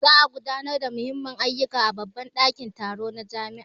Za a gudanar da Muhimmman ayyuka a babban dakin taro na jami'a.